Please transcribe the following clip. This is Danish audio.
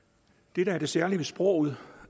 det der er det særlige ved sproget